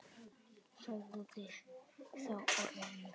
Sagði þá Ormur